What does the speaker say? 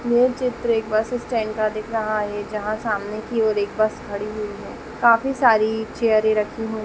ये चित्र एक बस स्टेंड का दिख रहा है जहाँ सामने की ओर एक बस खड़ी हुई है काफ़ी सारी चेयरे रखी हुई --